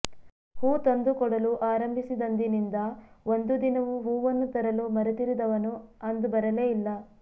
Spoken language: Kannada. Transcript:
ಹೂ ತಂದು ಕೊಡಲು ಆರಂಭಿಸಿದಂದಿನಿಂದ ಒಂದು ದಿನವೂ ಹೂವನ್ನು ತರಲು ಮರೆತಿರದವನು ಅಂದು ಬರಲೇ ಇಲ್ಲ